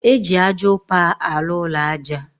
Eji ájá upa alu ụlọ aja